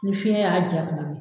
Ni fiɲɛ y'a ja kuma min.